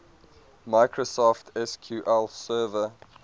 microsoft sql server